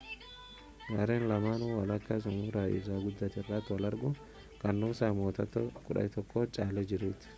gareen lamaanuu walakkaa xumuraa isa guddaa irratti wal argu kan nuusaan mo'attoota qabxii 11n caalee jirutti